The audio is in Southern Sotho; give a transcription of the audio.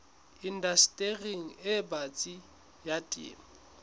indastering e batsi ya temo